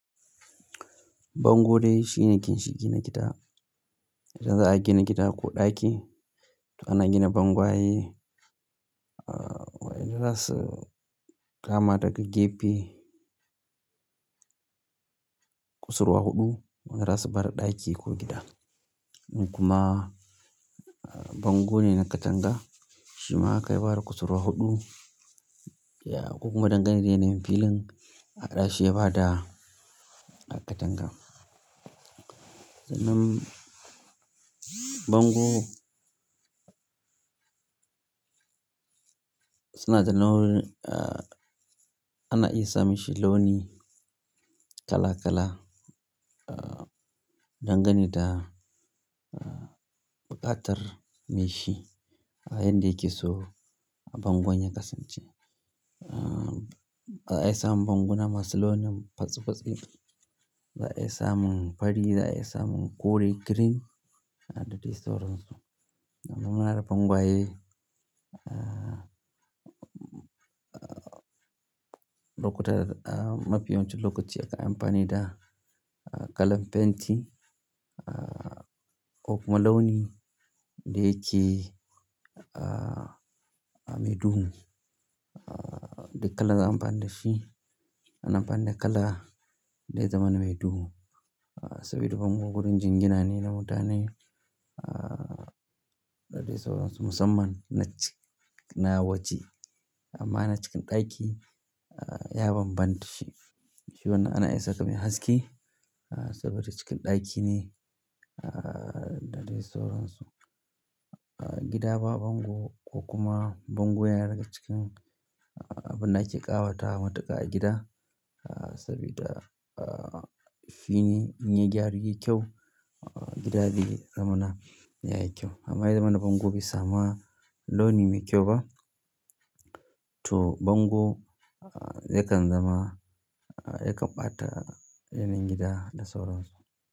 Bango dai shine ginshiƙin gida. Idan za'a gina gida ko ɗaki, to ana gina bangwaye. Aaa, wa ina so kama daga gefe, kusurwa huɗu, wanda za su bada ɗaki ko gida. In kuma bango ne na katanga, shi ma haka ya bada kusurwa huɗu. Ya ko kuma dangane da yanayin filin, a haɗa shi ya bada katanga. Sannan bango suna da nau'i, ana iya sa mishi launi kala kala. Aaa, dangane da buƙatar mai shi a yadda yake so bangon ya kasance. Aaa, za a iya samun bangona masu launin fatsi fatsi, za a iya samun fari, za a iya samun kore, green, da dai sauransu. Amma muna da bangwaye, lokuta mafiya yawancin lokaci akan yi amfani da kalan fenti. Aaa, ko kuma launi da yake a me duhu. Ah duk kalar da za'ayi amfani da shi ana amfani da kala da zai zamana me duhu. Saboda bango wurin jingina ne na mutane, ah da dai sauransu musamman na ci, na waje. Amma na cikin ɗaki ya bambanta shi. Shi wannan ana iya saka mai haske saboda cikin ɗaki ne da dai sauransu. Gida ba bango ko kuma bango yana daga cikin abin da ake ƙawatawa matuƙa a gida. Sabida ahh, shi idan yayi kyau gida zai zamana yayi kyau amma idan ya zamana bango bai samu launi mai kyau ba, to bango yakan zama yakan ɓata yanayin gida da sauransu.